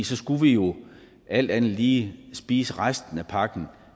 så skulle vi jo alt andet lige spise resten af pakken